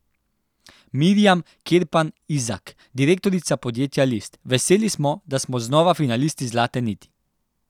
Mirjam Kerpan Izak, direktorica podjetja List: 'Veseli smo, da smo znova finalisti Zlate niti.